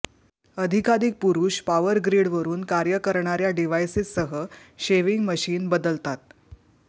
अधिकाधिक पुरुष पॉवर ग्रीडवरून कार्य करणार्या डिव्हाइसेससह शेविंग मशीन बदलतात